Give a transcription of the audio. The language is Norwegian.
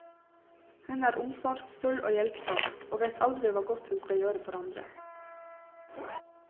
Hun er omsorgsfull og hjelpsom, og vet aldri hva godt hun skal gjøre for andre.